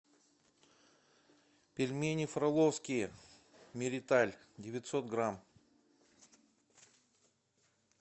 пельмени фроловские мириталь девятьсот грамм